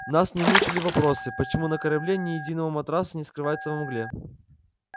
нас не мучили вопросы почему на корабле ни единого матраса не скрывается во мгле